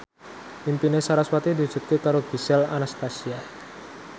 impine sarasvati diwujudke karo Gisel Anastasia